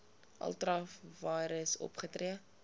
ultra vires opgetree